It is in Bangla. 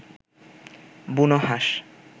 বুনোহাঁস